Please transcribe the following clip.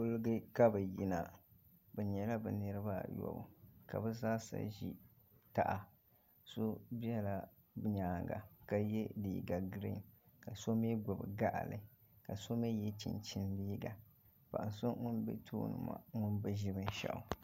Kuliga ka bi yina bi yɛla bi niriba a yobu ka bi zaa sa zi taha so bɛla yɛanga ka yiɛ liiga griin ka so mi gbubi baɣili ka so mi yiɛ chinchini liiga paɣa so ŋuni bɛ tooni maa ŋuni bi zi bini shaɣu.